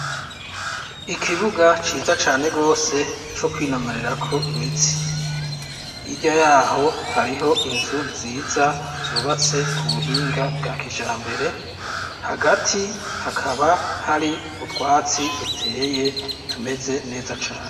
Ikibuga ciza cane gose co kwinonorerako imitsi. Hirya yaho hariho inzu nziza zubatswe ku buhinga bwa kijambere, hagati hakaba hariho utwatsi duteye tumeze neza cane.